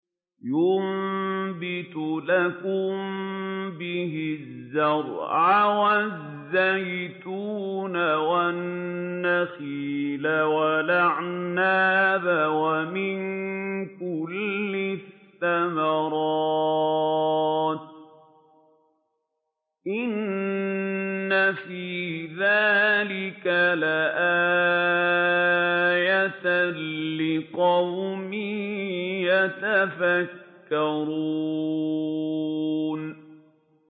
يُنبِتُ لَكُم بِهِ الزَّرْعَ وَالزَّيْتُونَ وَالنَّخِيلَ وَالْأَعْنَابَ وَمِن كُلِّ الثَّمَرَاتِ ۗ إِنَّ فِي ذَٰلِكَ لَآيَةً لِّقَوْمٍ يَتَفَكَّرُونَ